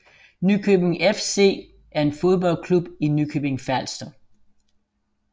Nykøbing FC er en fodboldklub i Nykøbing Falster